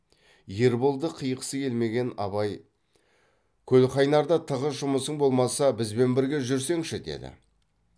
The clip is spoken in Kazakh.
ерболды қиғысы келмеген абай көлқайнарда тығыз жұмысың болмаса бізбен бірге жүрсеңші деді